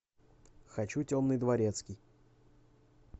хочу темный дворецкий